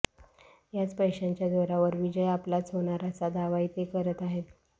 याच पैशांच्या जोरावर विजय आपलाच होणार असा दावाही ते करत आहेत